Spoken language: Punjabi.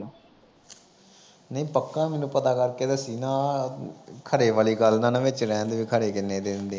ਨਹੀਂ ਪੱਕਾ ਮੈਨੂੰ ਪਤਾ ਕਰਕੇ ਦੱਸੀ ਨਾ। ਖਰੇ ਵਾਲੀ ਗੱਲ ਨਾ ਵਿੱਚ ਲੈਣ ਦੇਵੇ। ਖਰੇ ਜਿੰਨੇ ਦੇ ਦਿੰਦੇ ਆ